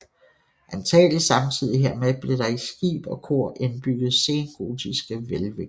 Antagelig samtidig hermed blev der i skib og kor indbygget sengotiske hvælvinger